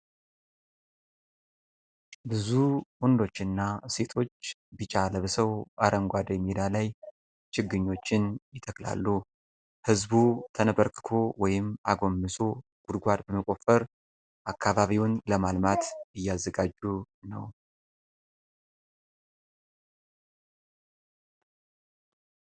ብዙ ወንዶችና ሴቶች ቢጫ ለብሰው አረንጓዴ ሜዳ ላይ ችግኞችን ይተክላሉ። ህዝቡ ተንበርክኮ ወይም አጎንብሰው ጉድጓድ በመቆፈር አካባቢውን ለማልማት እያዘጋጁ ነው።